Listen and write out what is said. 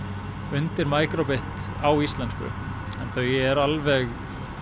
undir micro bit á íslensku en þau eru alveg